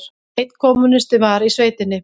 Einn kommúnisti var í sveitinni.